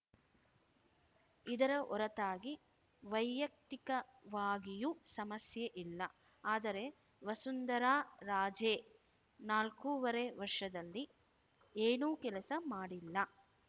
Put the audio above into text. ಇದರ ಹೊರತಾಗಿ ವೈಯಕ್ತಿಕವಾಗಿಯೂ ಸಮಸ್ಯೆ ಇಲ್ಲ ಆದರೆ ವಸುಂಧರಾ ರಾಜೇ ನಾಲ್ಕೂವರೆ ವರ್ಷದಲ್ಲಿ ಏನೂ ಕೆಲಸ ಮಾಡಿಲ್ಲ